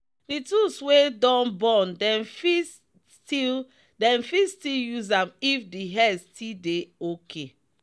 the tools wey don burn dem fit still dem fit still use am if the head still dey okay.